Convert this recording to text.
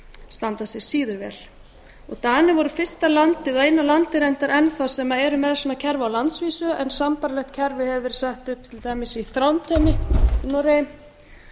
standa sig síður vel danir voru fyrsta landið og eina landið reyndar enn þá sem er með svona kerfi á landsvísu en sambærilegt kerfi hefur varð sett upp til dæmis í þrándheimi í noregi